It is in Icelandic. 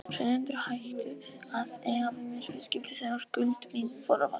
Seljendur hættu að eiga við mig viðskipti þegar skuld mín fór að vaxa.